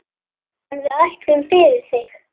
En við ætlum, fyrir þig.